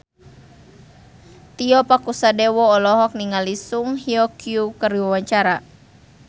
Tio Pakusadewo olohok ningali Song Hye Kyo keur diwawancara